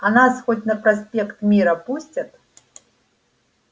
а нас хоть на проспект мира пустят